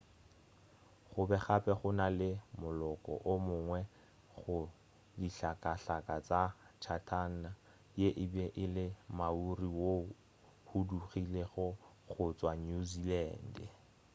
gobe gape go na le moloko o mongwe go dihlakahlaka tša chatham ye e be e le maori woo o hudugilego go tšwa new zealand